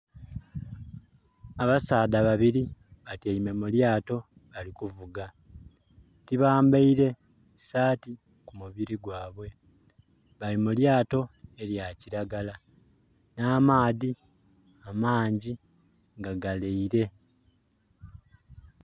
Abasadha babiri batyeime mulyato bali kuvuga tibambaire saati kumubiri gwabwe bali mu lyato erya kilagala na amaadhi amangi nga galeire.